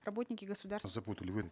работники государств запутали вы